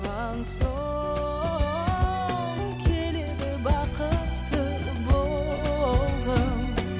соң келеді бақытты болғым